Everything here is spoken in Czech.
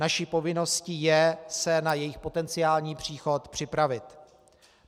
Naší povinností je se na jejich potenciální příchod připravit.